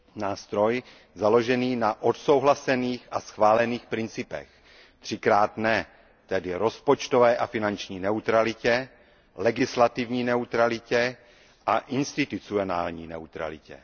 Nástroj, založený na odsouhlasených a schválených principech. Třikrát ne, tedy rozpočtové a finanční neutralitě, legislativní neutralitě a institucionální neutralitě.